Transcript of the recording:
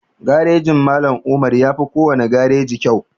Garejin Mallam Umar yafi kowane gareji kyau